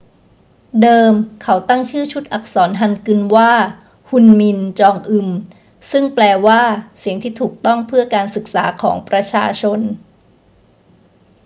เดิมเขาตั้งชื่อชุดอักษรฮันกึลว่า ฮุนมิน จองอึม ซึ่งแปลว่า เสียงที่ถูกต้องเพื่อการศึกษาของประชาชน